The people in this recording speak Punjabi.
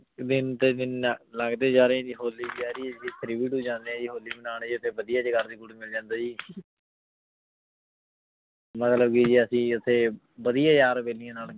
ਦਿਨ ਤੇ ਦਿਨ ਲੰਗੜੀ ਜਾ ਰਹੀ ਜੀ ਹੋਲੀ ਵੀ ਆ ਰਹੀ ਆਯ ਜੀ ਕੋਲ ਜਾਂਦੇ ਆਯ ਜੀ ਜੀ ਓਥੇ ਵਾਦਿਯ ਜੇਯਾਗੁਦ ਮਿਲ ਜਾਂਦਾ ਜੀ ਮਤਲਬ ਕੇ ਜੀ ਅਸੀਂ ਓਥੇ ਵਾਦਿਯ ਯਾਰ ਬੇਲਿਯਾਂ